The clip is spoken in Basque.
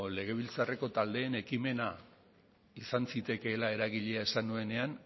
legebiltzarreko taldeen ekimena izan zitekeela eragilea esan nuenean